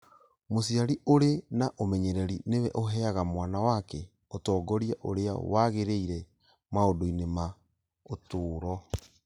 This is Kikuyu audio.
Mũciari ũrĩ na ũmenyereri nĩwe ũheaga mwana wake ũtongoria ũrĩa wagĩrĩire maũndũ-inĩ ma ũtũũro